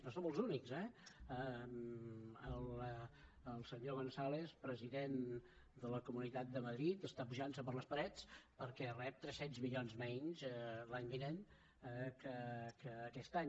no som els únics eh el senyor gonzález president de la comunitat de madrid està pujant per les parets perquè rep tres cents milions menys l’any vinent que aquest any